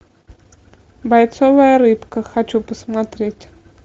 бойцовая рыбка хочу посмотреть